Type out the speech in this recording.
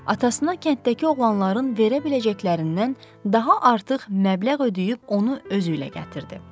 Atasına kənddəki oğlanların verə biləcəklərindən daha artıq məbləğ ödəyib onu özü ilə gətirdi.